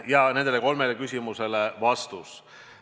" Ja nendele kolmele küsimusele vastus.